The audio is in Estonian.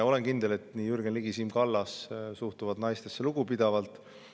Olen kindel, et nii Jürgen Ligi kui ka Siim Kallas suhtuvad naistesse lugupidavalt.